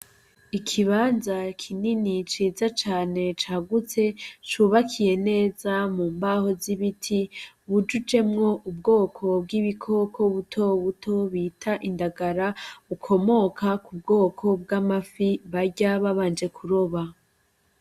Ikibanza kinini ciza cane cagutse cubakiye neza mu mbaho z'ibiti, bujujemwo ubwoko bw'ibikoko butobuto bita indagara bukomoka ku bwoko bw'amafi barya babanje kuroba.